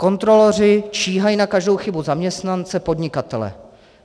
Kontroloři číhají na každou chybu zaměstnance podnikatele.